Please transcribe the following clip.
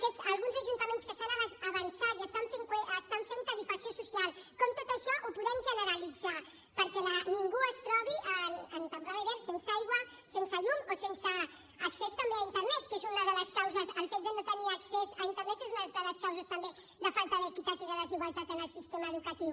alguns ajuntaments que s’han avançat i fan tarifació social com tot això ho podem generalitzar perquè ningú es trobi en temporada d’hivern sense aigua sense llum o sense accés també a internet que el fet de no tenir accés a internet és una de les causes també de falta d’equitat i de desigualtat en el sistema educatiu